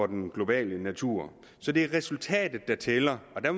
den globale natur så det er resultatet der tæller og der